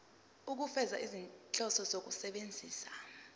ukufeza izinhloso zokusebenzisa